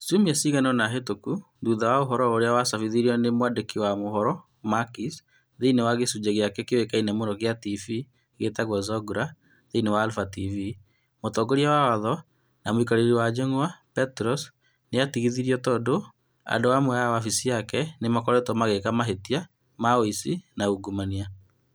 Ciumia cigana ũna mĩhĩtũku, thutha wa ũhoro ũrĩa wacabĩtwo nĩ mwandĩki wa mohoro Makis Triantafylopoulos thĩinĩ wa gĩcunjĩ gĩake kĩoĩkaine mũno kĩa TV gĩtagwo "Zoungla" thĩinĩ wa Alpha TV, mũtongoria wa watho na mũikarĩri wa njũng'wa, Petros Mantouvalos nĩ aatigithirio tondũ andũ amwe a wabici yake nĩ makoretwo magĩka mahĩtia ma ũici na ungumania.